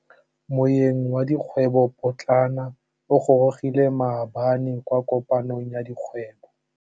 Moêng wa dikgwêbô pôtlana o gorogile maabane kwa kopanong ya dikgwêbô.